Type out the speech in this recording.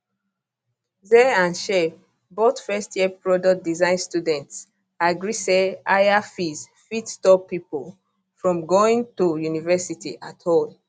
zay and shay both first year product design students agree say higher fees fit stop pipo from going to university at all